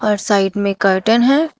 और साइड में कर्टन है।